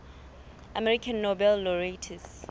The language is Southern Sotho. american nobel laureates